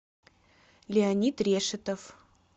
леонид решетов